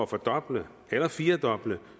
fordoble eller firedoble